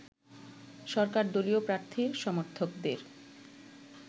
সরকার দলীয় প্রার্থীর সমর্থকদের